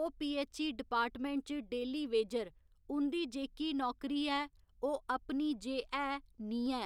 ओह् PHE department च daily wager उं'दी जेह्की नौकरी ऐ ओह् अपनी जे है नीं ऐ